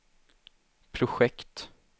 projekt